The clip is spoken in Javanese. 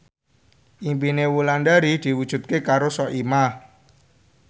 impine Wulandari diwujudke karo Soimah